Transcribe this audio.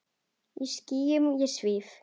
Í skýjum ég svíf.